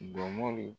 Jɔnmaa l